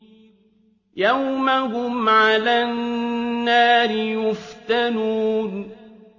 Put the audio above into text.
يَوْمَ هُمْ عَلَى النَّارِ يُفْتَنُونَ